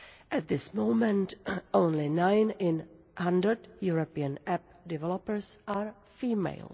At this moment, only nine in 100 European app developers are female